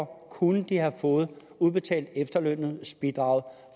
kunne de have fået udbetalt efterlønsbidraget